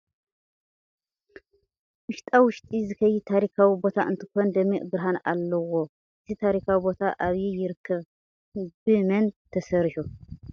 ዉሽጣ ውሽጢ ዝከይድ ታሪካዊ ቦታ እንትኮን ደሚቅ ብርሃን ኣለዎ ። እቲ ታሪካዊ ቦታ ኣብይ ይርከብ ን ብ መን ተሰሪሑ ?